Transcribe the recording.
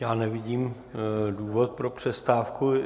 Já nevidím důvod pro přestávku.